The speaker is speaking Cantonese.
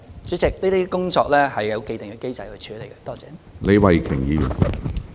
主席，這些工作已有既定機制處理。